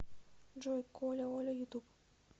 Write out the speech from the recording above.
джой коляоля ютуб